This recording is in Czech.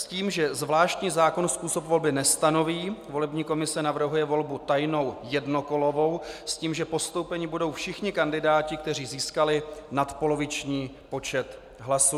S tím, že zvláštní zákon způsob volby nestanoví, volební komise navrhuje volbu tajnou jednokolovou, s tím že postoupeni budou všichni kandidáti, kteří získali nadpoloviční počet hlasů.